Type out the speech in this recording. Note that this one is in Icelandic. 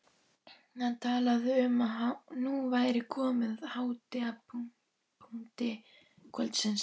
Hann talaði um að nú væri komið að hápunkti kvöldsins.